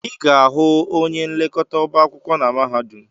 Ị ga-ahụ onye nlekọta ọba akwụkwọ na mahadum.